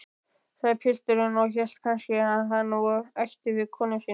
sagði pilturinn og hélt kannski hann ætti við konuna sína.